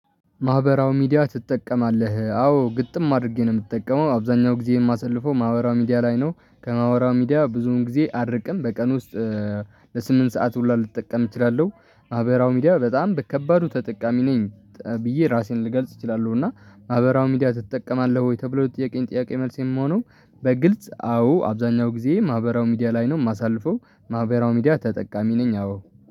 ማህበራዊ ሚዲያ ትጠቀማለህ አዎ ግጥም አድርጌ ነው የምጠቀመው አብዛኛው ጊዜ የማሰልፈው ማህበራዊ ሚዲያ ላይ ነው ከማህበራዊ ሚዲያ ብዙውን ጊዜ አርብ ቀን በቀን ውስጥ ለስምንት ሰዓት ሁላ ልጠቀም እችላለሁ። ማህበራዊ ሚዲያ በጣም በከባዱ ተጠቃሚ ነኝ ብዬ ራሴን ልገልጽ እችላለሁ። እና ማህበራዊ ሚዲያ ትጠቀማለህ ወይ? ተብሎ ጥያቄን ጥያቄ መልስ የሚሆነው በግልጽ አዎ አብዛኛው ጊዜ ማህበራው ሚዲያ ላይ ነው የማሳልፈው። ማህበራው ሚዲያ ተጠቃሚ ነኝ አዎ